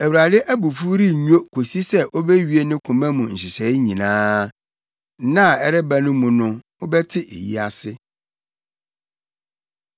Awurade abufuw rennwo kosi sɛ obewie ne koma mu nhyehyɛe nyinaa. Nna a ɛreba no mu no mobɛte eyi ase.